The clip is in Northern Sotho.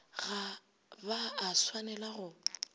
ga ba a swanela go